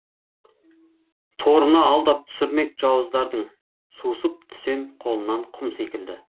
торына алдап түсірмек жауыздардың сусып түсем қолынан құм секілді